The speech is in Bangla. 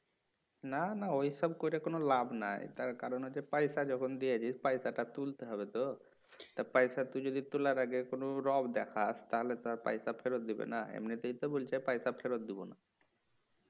না না ওইসব করে কোনো লাভ নাই তার কারণ হচ্ছে পয়সা যখন দিয়েছিস পয়সাটা তুলতে হবে তো তা পয়সা তুই যদি তুলার আগে কোনো রোয়াব দেখাস তাহলে তো আর পয়সা ফেরত দেবিনা এমনিতেই তো বলছে পয়সা ফেরত দিবেনা